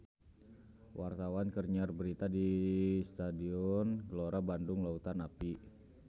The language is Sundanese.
Wartawan keur nyiar berita di Stadion Gelora Bandung Lautan Api